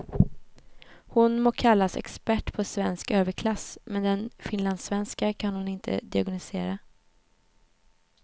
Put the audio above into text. Hon må kallas expert på svensk överklass, men den finlandssvenska kan hon inte diagnostisera.